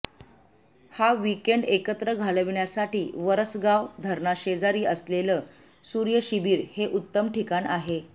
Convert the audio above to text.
हा वीकएण्ड एकत्र घालवण्यासाठी वरसगाव धरणाशेजारी असलेलं सूर्यशिबीर हे उत्तम ठिकाण आहे